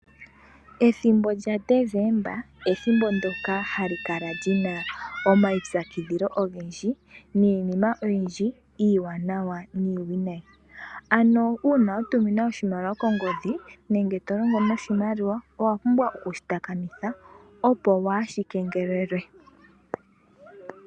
Ethimbo lyaNdesemba ethimbo ndjoka ha li kala li na omaipyakidhilo ogendji, miinima oyindji iiwanawa niiwinayi . Ano uuna wa tuminwa oshimaliwa kongodhi nenge to longo noshimaliwa, owa pumbwa oku shi takamitha, opo waa shi kengelelwe.